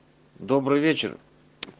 добрый вечер